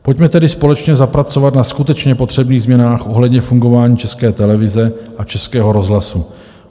Pojďme tedy společně zapracovat na skutečně potřebných změnách ohledně fungování České televize a Českého rozhlasu.